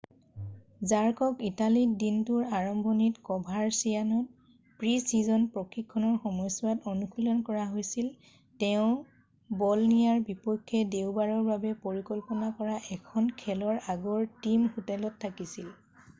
জাৰ্কক ইটালীত দিনটোৰ আৰম্ভণিত ক'ভাৰচিয়ান'ত প্ৰি-ছিজন প্ৰশিক্ষণৰ সময়ছোৱাত অনুশীলন কৰা হৈছিল৷ তেওঁ ব'লনিয়াৰ বিপক্ষে দেওবাৰৰ বাবে পৰিকল্পনা কৰা এখন খেলৰ আগৰ টিম হোটেলত থাকিছিল৷